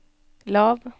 lav